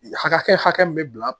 Hakɛ hakɛ min bɛ bila